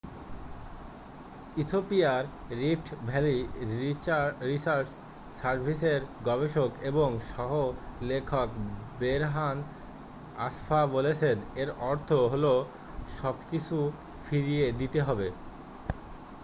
ইথিওপিয়ার Rift Valley Research সার্ভিসের গবেষক এবং সহ-লেখক বেরহান আসফা বলেছেন এর অর্থ হলো সবকিছু ফিরিয়ে দিতে হবে